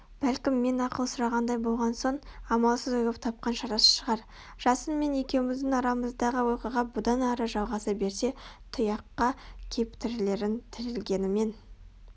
бәлкім мен ақыл сұрағандай болған соң амалсыз ойлап тапқан шарасы шығар жасын мен екеуміздің арамыздағы оқиға бұдан ары жалғаса берсе тұйыққа кеп тірелерін тірелгенімен